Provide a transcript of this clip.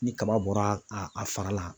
Ni kaba bɔra a fara la.